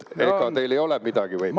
Ega teil ei ole midagi?